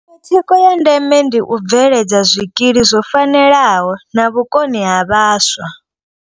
Iṅwe thikho ya ndeme ndi u bveledza zwikili zwo fanelaho na vhukoni ha vhaswa.